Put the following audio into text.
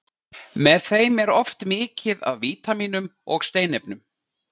Með þeim er oft mikið af vítamínum og steinefnum.